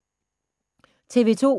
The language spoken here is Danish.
TV 2